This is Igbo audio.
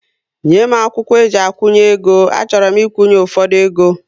Nye m akwụkwọ eji akwunye égo, a chọrọ m ikwunye ụfọdụ égo